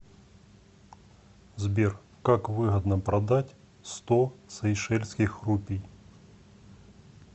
сбер как выгодно продать сто сейшельских рупий